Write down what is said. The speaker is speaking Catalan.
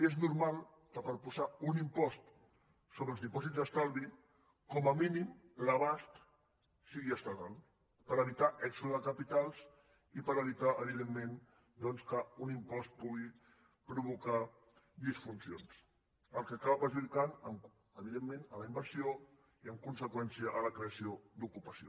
és normal que per posar un impost sobre els dipòsits d’estalvi com a mínim l’abast sigui estatal per evitar èxode de capitals i per evitar evidentment doncs que un impost pugui provocar disfuncions cosa que acaba perjudicant la inversió i en conseqüència la creació d’ocupació